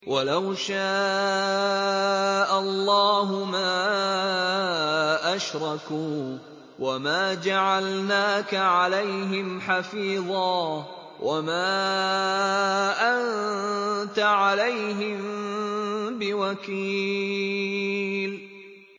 وَلَوْ شَاءَ اللَّهُ مَا أَشْرَكُوا ۗ وَمَا جَعَلْنَاكَ عَلَيْهِمْ حَفِيظًا ۖ وَمَا أَنتَ عَلَيْهِم بِوَكِيلٍ